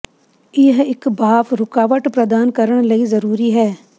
ਇਹ ਇੱਕ ਭਾਫ਼ ਰੁਕਾਵਟ ਪ੍ਰਦਾਨ ਕਰਨ ਲਈ ਜ਼ਰੂਰੀ ਹੈ